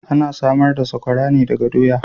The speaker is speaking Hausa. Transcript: Ana samar da saƙwara ne daga doya.